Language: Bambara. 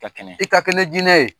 Ka kɛnɛ,I ka kɛne ni jinɛi ye.